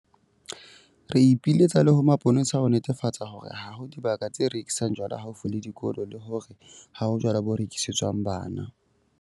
Re ipiletsa le ho mapolesa ho netefatsa hore ha ho dibaka tse rekisang jwala haufi le dikolo le hore ha ho jwala bo rekisetswang bana.